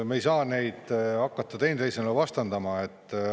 Me ei saa neid hakata teineteisele vastandama.